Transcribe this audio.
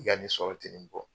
I ka nin sɔrɔ tɛ nin bɔ